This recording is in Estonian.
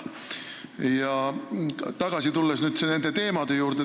Tulen tagasi küsimuse teema juurde.